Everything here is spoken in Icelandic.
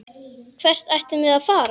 Hvert ættum við að fara?